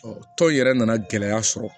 tɔn in yɛrɛ nana gɛlɛya sɔrɔ